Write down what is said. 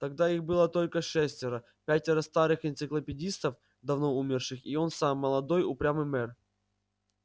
тогда их было только шестеро пятеро старых энциклопедистов давно умерших и он сам молодой упрямый мэр